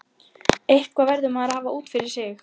Eitthvað verður maður að hafa út af fyrir sig.